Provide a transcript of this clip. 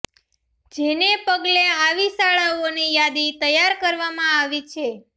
જેને પગલે આવી શાળાઓની યાદી તૈયાર કરવામાં આવી રહી છે